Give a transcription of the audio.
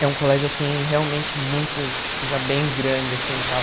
É um colégio, assim, realmente muito, tipo, já bem grande, assim, e tal.